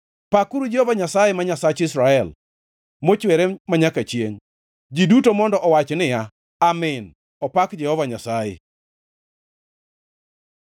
Pakuru Jehova Nyasaye, ma Nyasach Israel, mochwere manyaka chiengʼ. Ji duto mondo owach niya, “Amin!” Opak Jehova Nyasaye.